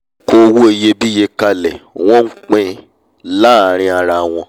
wọn kó owó iyebíye kalẹ̀ wọ́n n pín-in láàrin ara wọn